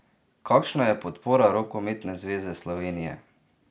Kakšna je podpora Rokometne zveze Slovenije?